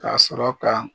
Ka sɔrɔ ka